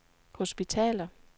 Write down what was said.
hospitaler